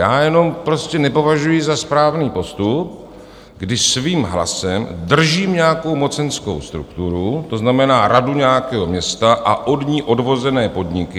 Já jenom prostě nepovažuji za správný postup, když svým hlasem držím nějakou mocenskou strukturu, to znamená, radu nějakého města a od ní odvozené podniky.